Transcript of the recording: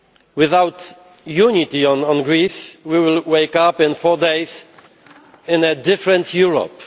Without unity on Greece, we will wake up in four days in a different Europe.